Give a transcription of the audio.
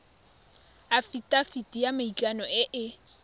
afitafiti ya maikano e e